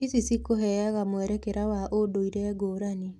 Ici cikũheaga mwerekera wa ũndũire ngũrani.